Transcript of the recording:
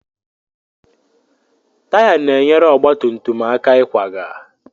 Taya na-enyere ọgba tum tum aka ịkwaga.